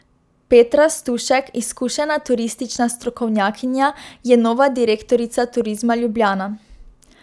Petra Stušek, izkušena turistična strokovnjakinja, je nova direktorica Turizma Ljubljana.